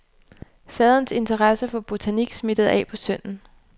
Faderens interesse for botanik smittede af på sønnen.